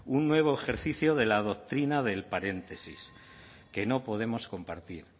un nuevo ejercicio de la doctrina del paréntesis que no podemos compartir